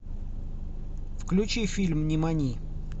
включи фильм нимани